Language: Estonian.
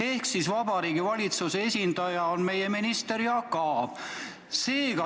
Ehk Vabariigi Valitsuse esindaja on meie minister Jaak Aab.